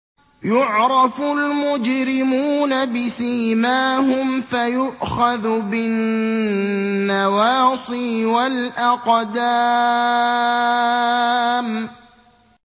يُعْرَفُ الْمُجْرِمُونَ بِسِيمَاهُمْ فَيُؤْخَذُ بِالنَّوَاصِي وَالْأَقْدَامِ